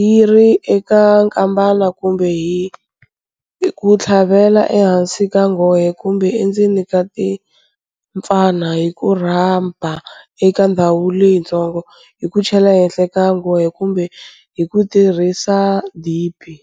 yi ri eka nkambana, kumbe hi ku titlhavela ehansi ka nghohe kumbe endzeni ka timpfana, hi ku rhaba eka ndhawu leyitsongo, hi ku chela ehenhla ka nghohe kumbe hi ku tirhisa dibi.